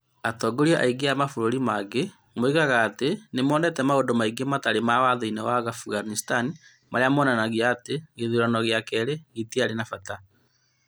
Atongoria a thayũ a mabũrũri mangĩ moigaga atĩ nĩ monete maũndũ maingĩ mataarĩ ma Watho-inĩ wa Afghanistan marĩa maronania atĩ gĩthurano gĩa kerĩ gĩtiarĩ kĩa bata.